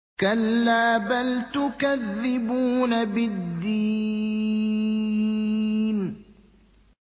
كَلَّا بَلْ تُكَذِّبُونَ بِالدِّينِ